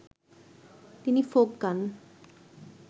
তিনি ফোক গান